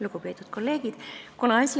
Lugupeetud kolleegid!